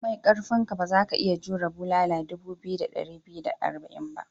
Komai karfinka, ba za ka iya jmure bulala dubu biyu da dari biyu da arba'in ba.